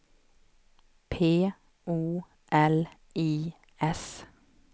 P O L I S